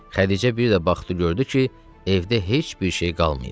Xədicə bir də baxdı gördü ki, evdə heç bir şey qalmayıb.